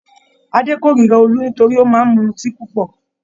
Adé kórira Olú nítorí ó máa mutí púpọ̀.